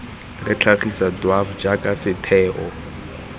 re tlhagisa dwaf jaaka setheo